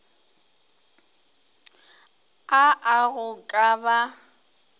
a a go ka ba